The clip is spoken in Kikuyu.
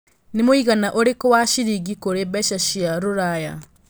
nĩ mũigana ũrikũ wa ciringi kũrĩ mbeca cia rũraya